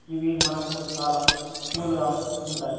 ఇవి మనకు చాలా కూల్ గా ఉంటాయి.